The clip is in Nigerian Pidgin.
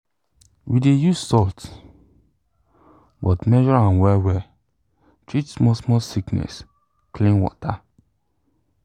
we dey use salt but measure am well well treat small small sickness clean water